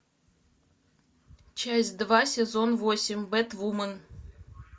часть два сезон восемь бэтвумен